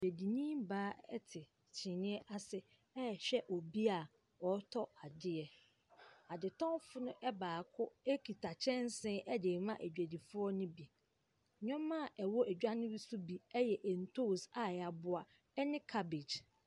Dwadini baa te kyinniiɛ ase rehwɛ obi a ɔretɔ adeɛ. Adetɔfoɔno baako kuta kyɛnsee de rema adwadifoɔ no bi. Nneɛma a ɛwɔ dwa no mu nso bi yɛ ntoosi a yɛaboa ne caabage.